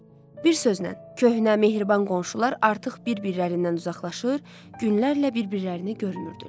Bir sözlə, köhnə mehriban qonşular artıq bir-birlərindən uzaqlaşır, günlərlə bir-birlərini görmürdülər.